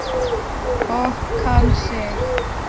Og kann sig.